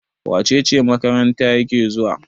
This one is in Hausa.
wacece makaranta yake zuwa?